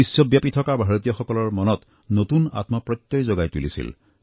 বিশ্বব্যাপী থকা ভাৰতীয়সকলৰ মনত নতুন আত্ম প্ৰত্যয় জগাই তুলিছিল